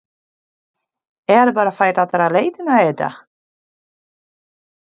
Er bara fært aðra leiðina eða?